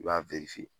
I b'a